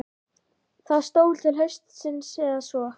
Það stóð til haustsins eða svo.